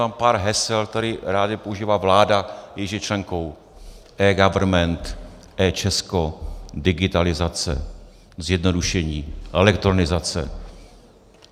Mám pár hesel, která ráda používá vláda, jejíž je členkou: eGovernment, eČesko, digitalizace, zjednodušení, elektronizace.